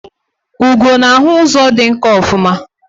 Ugo na-ahụ ụzọ dị nkọ ofuma